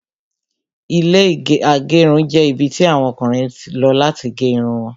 Ilẹ́ agerun jẹ́ ibi tí àwọn Ọkùnrin lọ láti gé Irun wọn